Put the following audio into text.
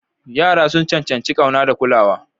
Yara sun cancanci ƙauna da kulawa.